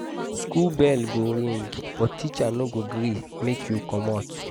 school bell go ring but teacher no go gree make you comot.